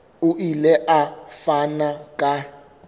o ile a fana ka